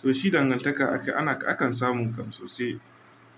To shi dangantaka akai ana akan samu kam sosai.